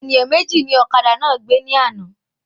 Ènìyàn méjì ní ọ̀kadà náà gbé ní àna